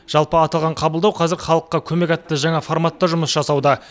жалпы аталған қабылдау қазір халыққа көмек атты жаңа форматта жұмыс жасауда